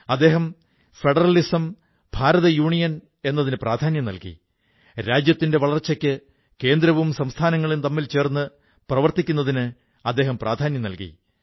അദ്ദേഹം federalism federal സംവിധാനം രാജ്യത്തിന്റെ വളർച്ചയ്ക്ക് കേന്ദ്രവും സംസ്ഥാനങ്ങളും തമ്മിൽ ചേർന്ന് പ്രവർത്തിക്കുക എന്നിവയ്ക്ക് പ്രാധാന്യം നല്കി